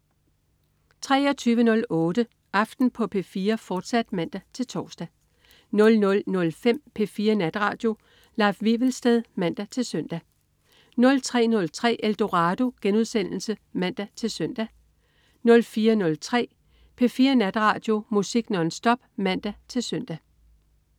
23.08 Aften på P4, fortsat (man-tors) 00.05 P4 Natradio. Leif Wivelsted (man-søn) 03.03 Eldorado* (man-søn) 04.03 P4 Natradio. Musik nonstop (man-søn)